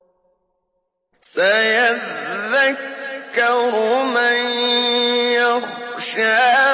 سَيَذَّكَّرُ مَن يَخْشَىٰ